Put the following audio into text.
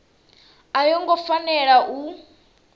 a yo ngo fanela u